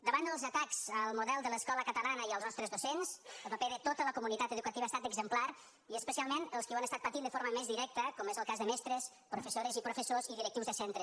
davant dels atacs al model de l’escola catalana i als nostres docents el paper de tota la comunitat educativa ha estat exemplar i especialment els qui ho han estat patint de forma més directa com és el cas de mestres professores i professors i directius de centre